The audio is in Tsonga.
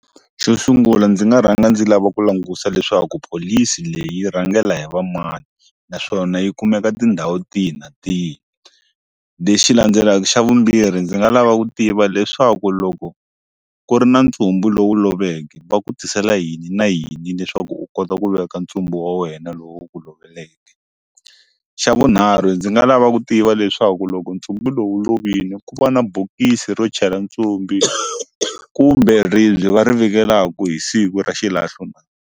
Xo sungula ndzi nga rhanga ndzi lava ku langusa leswaku pholisi leyi rhangela hi vamani naswona yi kumeka tindhawu tihi na tihi lexi landzelaka xa vumbirhi ndzi nga lava ku tiva leswaku loko ku ri na ntshungu lowu loveke va ku tisela yini na yini leswaku u kota ku veka ndzumbu wa wena lowu wu ku loveleke xa vunharhu ndzi nga lava ku tiva leswaku loko nchumu lowu lovile ku va na bokisi ro chela ndzumbu kumbe ribye va ri vekelaka hi siku ra xilahlo na.